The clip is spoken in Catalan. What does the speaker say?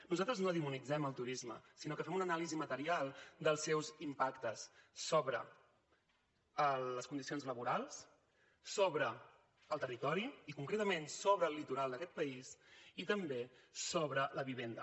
nosaltres no demonitzem el turisme sinó que fem una anàlisi material dels seus impactes sobre les condicions laborals sobre el territori i concretament sobre el litoral d’aquest país i també sobre la vivenda